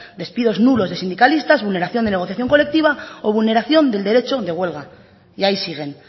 despidos nulos de sindicalistas vulneración de negociación colectiva o vulneración del derecho de huelga y ahí siguen